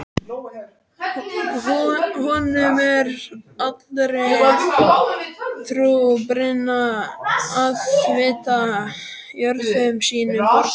Honum er allri trú brýnna að vita jörðum sínum borgið.